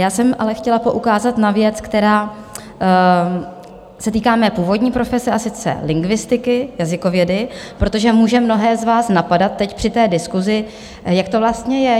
Já jsem ale chtěla poukázat na věc, která se týká mé původní profese, a sice lingvistiky, jazykovědy, protože může mnohé z vás napadat teď při té diskusi, jak to vlastně je.